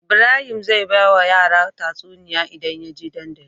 Ibrahim zai bawa yara tatsuniya idan yaje dandali